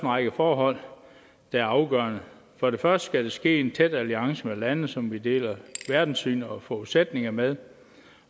række forhold der er afgørende for det første skal det ske i en tæt alliance med lande som vi deler verdenssyn og forudsætninger med